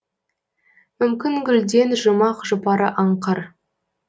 мүмкін гүлден жұмақ жұпары аңқыр